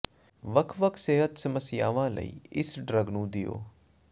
ਵੱਖ ਵੱਖ ਸਿਹਤ ਸਮੱਸਿਆਵਾਂ ਲਈ ਇਸ ਡਰੱਗ ਨੂੰ ਦਿਓ